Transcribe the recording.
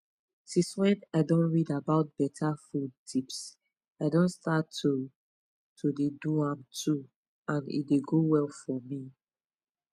since when i don read about better food tips i don start to to dey do am too and e dey go well for me